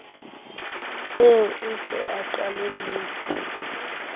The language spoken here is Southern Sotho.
eo o se o qalelletse